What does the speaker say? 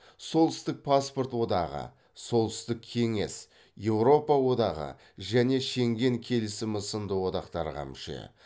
солтүстік паспорт одағы солтүстік кеңес еуропа одағы және шенген келісімі сынды одақтарға мүше